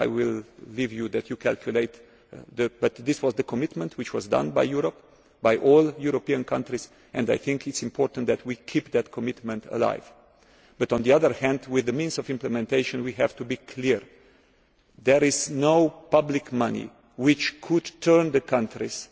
billion. I will leave you to do the calculations, but this was the commitment which was made by all European countries, and I think it is important that we keep that commitment alive. On the other hand, with the means of implementation we have to be clear that there is no public money which could